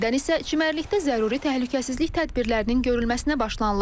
Apreldən isə çimərlikdə zəruri təhlükəsizlik tədbirlərinin görülməsinə başlanılıb.